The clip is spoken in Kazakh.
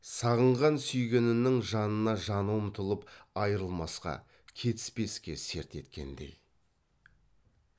сағынған сүйгенінің жанына жаны ұмтылып айрылмасқа кетіспеске серт еткендей